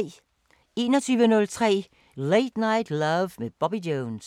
21:03: Late Night Love med Bobby Jones